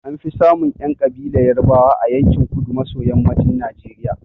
An fi samun ƴan ƙabilar Yarbawa a yankin kudu maso yammacin Najeriya.